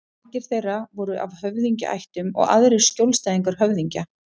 Margir þeirra voru af höfðingjaættum og aðrir skjólstæðingar höfðingja.